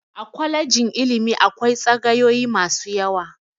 A kwalejin ilimi akwai tsagayoyi masu yawa.